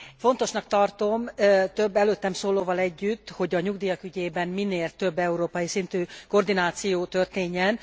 Fontosnak tartom, több előttem szólóval együtt, hogy a nyugdíjak ügyében minél több európai szintű koordináció történjen.